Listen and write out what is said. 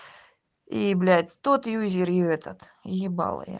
и блять тот юзер и этот ебала я